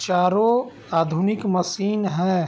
चारो आधुनिक मशीन है ।